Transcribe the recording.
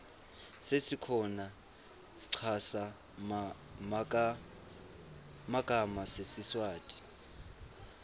sesikhona schaza magama sesiswati